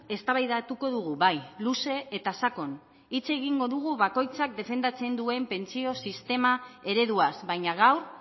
eztabaidatuko dugu bai luze eta sakon hitz egingo dugu bakoitzak defendatzen duen pentsio sistema ereduaz baina gaur